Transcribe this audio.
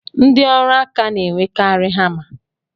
Ndi ọrụ aka na-enwekari hama